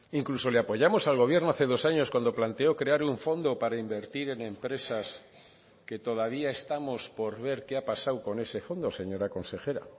incluso le apoyamos al gobierno hace dos años cuando planteó crear un fondo para invertir en empresas que todavía estamos por ver qué ha pasado con ese fondo señora consejera